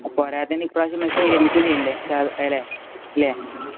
പോരാത്തതിന് ഈ പ്രാവശ്യം മെസ്സി വിരമിക്കുകയും ചെയ്യുവല്ലേ? അല്ലെ?